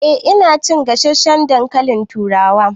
Eh ina cin gasasshen dankalin turawa